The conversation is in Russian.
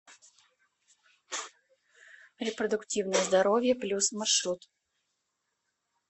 репродуктивное здоровье плюс маршрут